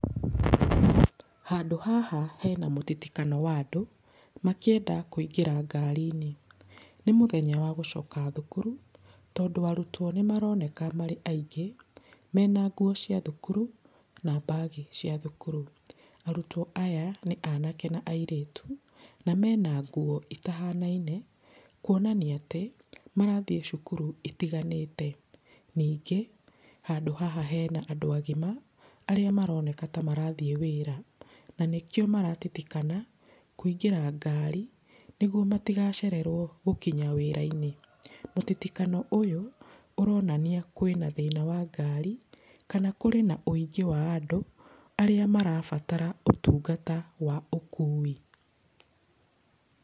Handũ haha hena mũtitikano wa andũ makĩenda kũingĩra ngari-inĩ. Nĩ mũthenya wa gũcoka thukuru tondũ arutwo nĩ maroneka marĩ aingĩ mena nguo cia thukuru, na mbagi cia thukuru. Arutwo aya nĩ anake na airĩtu, na mena nguo ĩtahanaine kuonania atĩ marathiĩ cukuru itiganĩte. Ningĩ, handũ haha hena andũ agima, arĩa maroneka ta marathiĩ wĩra. Na nĩkĩo maratitikana kũingĩra ngari nĩguo matigacererwo gũkinya wĩra-inĩ. Mũtitikano ũyũ ũronania kwĩna thĩna wa ngari, kana kũrĩ na ũingĩ wa andũ arĩa marabatara ũtungata wa ũkui.